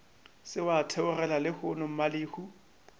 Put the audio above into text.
se wa theogela lehono mmalehu